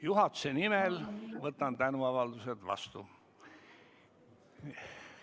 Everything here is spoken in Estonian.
Juhatuse nimel võtan tänuavaldused vastu.